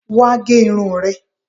Wá gẹ irun rẹ